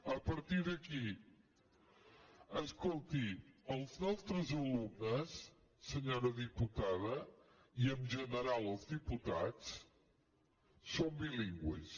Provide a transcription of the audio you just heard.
a partir d’aquí escolti els nostres alumnes senyora diputada i en general els diputats són bilingües